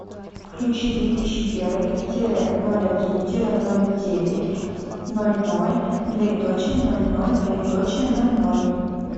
включи две тысячи первый тире ноль один тире ноль девять ноль ноль двоеточие ноль ноль двоеточие ноль ноль